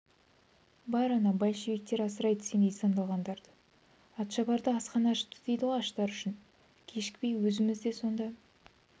бар ана большевиктер асырайды сендей сандалғандарды атшабарда асхана ашыпты дейді аштар үшін кешікпей өзіміз де сонда